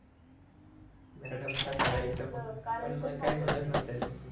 madam ला कळायचं पण मग काय म्हणत नव्हत्या त्या